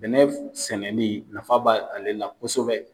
Bɛnɛ sɛnɛli nafa ba ale la kosɛbɛ.